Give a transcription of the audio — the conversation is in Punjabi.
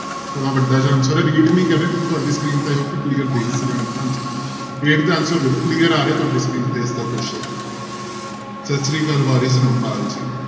ਥੋੜ੍ਹਾ ਵੱਡਾ ਇਹਦਾ answer ਹੈ ਨੀ ਕਰ ਰਹੇ ਕਿਉਂਕਿ ਤੁਹਾਡੀ screen ਤੇ clear ਹਾਂਜੀ eighth ਦਾ answer clear ਆ ਰਿਹਾ ਤੁਹਾਡੀ screen ਤੇ ਸਤਿ ਸ੍ਰੀ ਅਕਾਲ ਜੀ।